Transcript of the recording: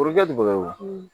Foroja